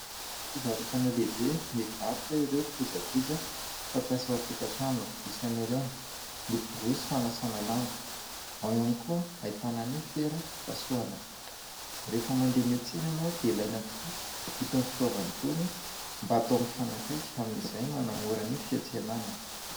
Fivarotana lehibe mivarotra ireo kojakoja fampiasa an-tokatrano isan'ireny ny borosy fanasana lamba, ao ihany koa ahitana ny fera fipasohana. Rehefa mandeha miatsena ianao dia ilaina tokoa itony fitaovan'itony mba atao mifanakaiky amin'izay manamora ny fiatsenana.